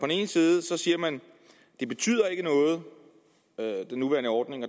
ene side siger man at den nuværende ordning